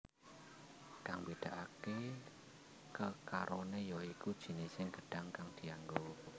Kang mbedakake kekarone ya iku jinising gedhang kang dianggo